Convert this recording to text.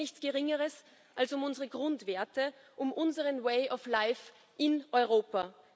Es geht um nichts Geringeres als um unsere Grundwerte, um unseren way of life in Europa.